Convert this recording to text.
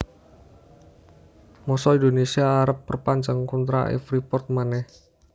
mosok Indonesia arep perpanjang kontrak e Freeport maneh